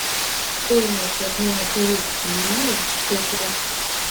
стоимость обмена турецкой лиры в шекелях